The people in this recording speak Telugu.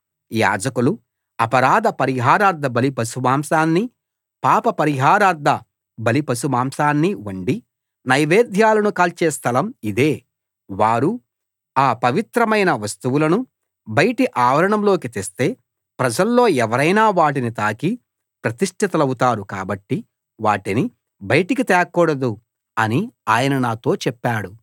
యాజకులు అపరాధ పరిహారార్థ బలి పశుమాంసాన్ని పాప పరిహారార్థ బలి పశుమాంసాన్ని వండి నైవేద్యాలను కాల్చే స్థలం ఇదే వారు ఆ పవిత్రమైన వస్తువులను బయటి ఆవరణంలోకి తెస్తే ప్రజల్లో ఎవరైనా వాటిని తాకి ప్రతిష్ఠితులవుతారు కాబట్టి వాటిని బయటికి తేకూడదు అని ఆయన నాతో చెప్పాడు